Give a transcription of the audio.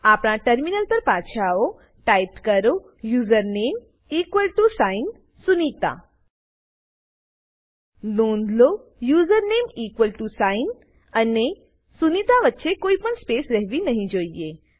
આપણા ટર્મિનલ પર પાછા આવો ટાઈપ કરો username equal to sign Sunita નોંધલો યુઝરનેમ ઇક્વલ ટીઓ સાઇન અને સુનિતા વચ્ચે કોઈ પણ સ્પેસ રહેવી નહી જોઈએ